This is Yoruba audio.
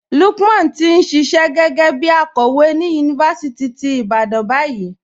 Lúkman ti n ṣíṣẹ̀ gé̩gẹ̩ bí àkòwé ni yunifásítì tí Ìbàdàn bayìí.